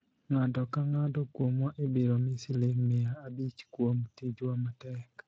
ng'ato ka ng'ato kuomwa ibiro mi siling mia abich kuom tijwa matek